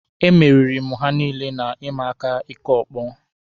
E meriri mụ ha niile na ịma aka ịkụ ọkpọ.